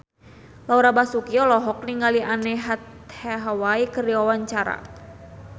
Laura Basuki olohok ningali Anne Hathaway keur diwawancara